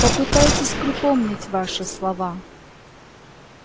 попытайтесь припомнить ваши слова